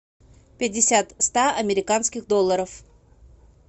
пятьдесят ста американских долларов